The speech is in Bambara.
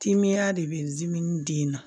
Timeya de bɛ zimɛn di na